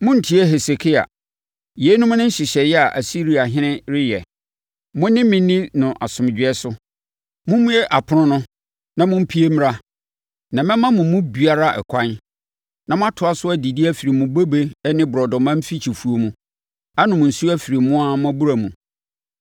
“Monntie Hesekia. Yeinom ne nhyehyɛeɛ a Asiriahene reyɛ. Mo ne me nni no asomdwoeɛ so. Mommue apono no, na mompue mmra. Na mɛma mo mu biara ɛkwan, na moatoa so adidi afiri mo bobe ne borɔdɔma mfikyifuo mu, anom nsuo afiri mo ara mo abura mu,